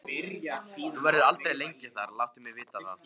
Hún verður aldrei lengi þar, láttu mig vita það.